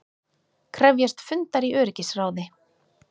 Krefjast fundar í öryggisráði